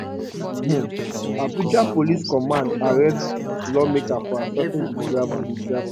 um abuja police command arrest lawmaker for assaulting di driver di driver